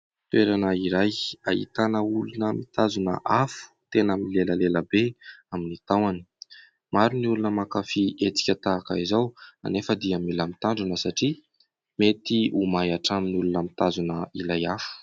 Toerana iray ahitana olona mitazona afo tena milelalela be amin'ny tahony. Maro ny olona mankafy hetsika tahaka izao nefa dia mila mitrandrina satria mety ho may hatramin'ny olona mitazona ilay afo.